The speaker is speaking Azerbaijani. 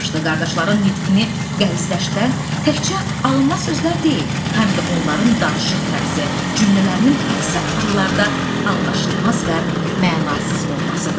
Qardaşların nitqini qəlizləşdirən təkcə alınma sözlər deyil, həm də onların danışıq tərzi, cümlələrinin əksər hallarda anlaşılmaz və mənasız olmasıdır.